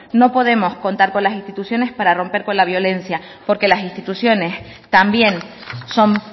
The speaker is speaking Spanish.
no podemos contar con las instituciones para romper con la violencia porque las instituciones también son